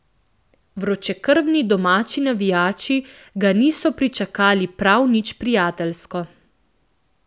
Vročekrvni domači navijači ga niso pričakali prav nič prijateljsko.